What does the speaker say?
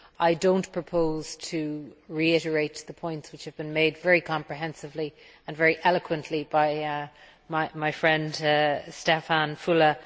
I do not propose to reiterate the points which have been made very comprehensively and very eloquently by my friend Štefan Füle.